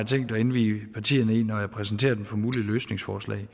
at indvie partierne i når jeg præsenterer dem for mulige løsningsforslag